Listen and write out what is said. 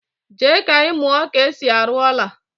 jee ka imuo ka esi aru ola